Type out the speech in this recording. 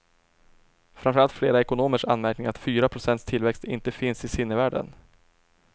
Framförallt flera ekonomers anmärkning att fyra procents tillväxt inte finns i sinnevärlden.